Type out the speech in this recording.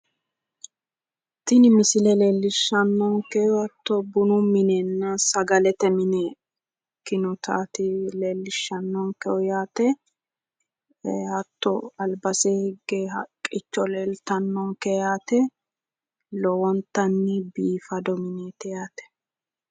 Tini misile leellishannonkehu hatto bunu minenna sagalete mine ikkinotaati leellishannonkehu yaate hatto albasinni higge haqqicho leeltannonke yaate lowontanni biifado mineeti yaate